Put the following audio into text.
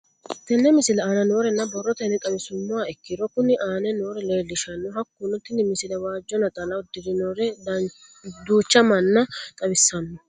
Tenne misile aana noore borrotenni xawisummoha ikirro kunni aane noore leelishano. Hakunno tinni misile waajo naxala uddirinorre duucha manna xawissanno.